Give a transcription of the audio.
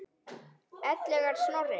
Ellegar Snorri?